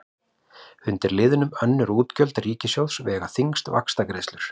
Undir liðnum önnur útgjöld ríkissjóðs vega þyngst vaxtagreiðslur.